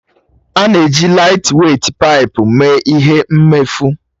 A na-eji laịtweit paipu mee ihe mmefu.